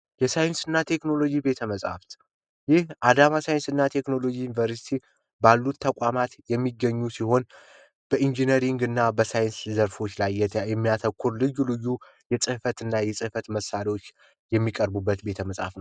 የሳይንስ እና ቴክኖሎጂ ቤተመፅሀፍት ይህ አዳማ ሳይንስ እና ቴክኖሎጂ ባሉ ተቋማት የሚገኙ ሲሆን በኢንጂነሪንግ እና በሳይንስና ዘርፎች ላይ የሚያተኩር ልዩ ልዩ የፅህፈት መሳሪያዎች የሚቀርቡበት ቤተመጻሕፍት ነው።